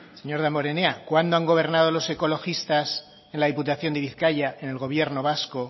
señor damborenea cuándo han gobernado los ecologistas en la diputación de bizkaia en el gobierno vasco